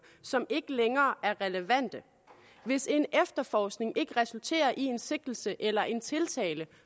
som ikke længere er relevante hvis en efterforskning ikke resulterer i en sigtelse eller en tiltale